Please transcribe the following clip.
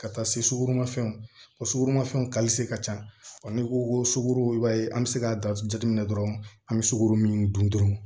Ka taa se sukurunmafɛnw ma o sukɔromafɛnw ka ca n'i ko ko sukaro i b'a ye an bɛ se k'a datugu jate minɛ dɔrɔn an bɛ sukaro min dun dɔrɔn